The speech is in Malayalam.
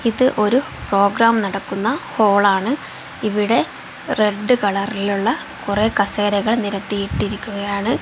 ഇത് ഒരു പ്രോഗ്രാം നടക്കുന്ന ഹോളാണ് ഇവിടെ റെഡ് കളറിലുള്ള കുറെ കസേരകൾ നിരത്തിയിട്ടിരിക്കുകയാണ്.